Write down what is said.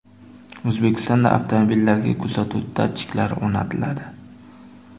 O‘zbekistonda avtomobillarga kuzatuv datchiklari o‘rnatiladi .